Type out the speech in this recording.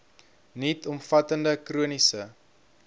nuut omvattende chroniese